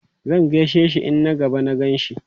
Zan gaishe shi in na gaba na gan shi.